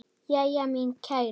Jæja, mín kæra.